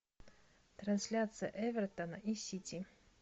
трансляция эвертона и сити